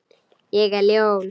Ég er ljón.